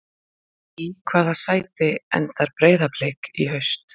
Í hvaða sæti endar Breiðablik í haust?